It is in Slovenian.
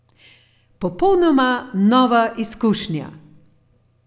Popolnoma nova izkušnja!